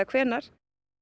hvenær